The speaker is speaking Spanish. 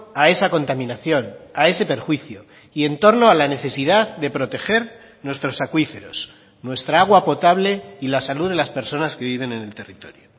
a esa contaminación a ese perjuicio y en torno a la necesidad de proteger nuestros acuíferos nuestra agua potable y la salud de las personas que viven en el territorio